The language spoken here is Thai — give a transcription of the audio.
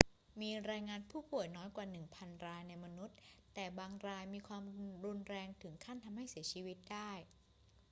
มีรายงานผู้ป่วยน้อยกว่าหนึ่งพันรายในมนุษย์ แต่บางรายมีความรุนแรงถึงขั้นทำให้เสียชีวิตได้